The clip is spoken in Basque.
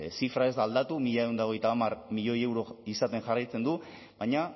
zifra ez da aldatu mila ehun eta hogeita hamar milioi euro izaten jarraitzen du baina